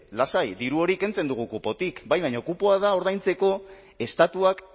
lasai diru hori kentzen dugu kupotik bai baina kupoa ordaintzeko estatuak